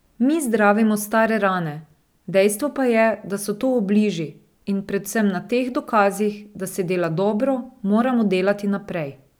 Mi zdravimo stare rane, dejstvo pa je, da so to obliži, in predvsem na teh dokazih, da se dela dobro, moramo delati naprej.